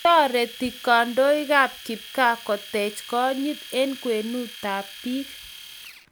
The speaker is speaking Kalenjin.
Toreti kandoikab kipgaa koteech konyit eng' kwenutab biik.